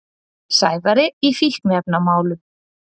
Sævari í fíkniefnamálum.